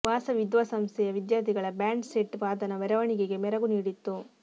ವಾಸವಿ ವಿದ್ಯಾಸಂಸ್ಥೆಯ ವಿದ್ಯಾರ್ಥಿಗಳ band set ವಾದನ ಮೆರವಣಿಗೆಗೆ ಮೆರಗು ನೀಡಿತ್ತು